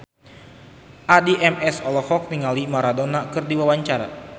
Addie MS olohok ningali Maradona keur diwawancara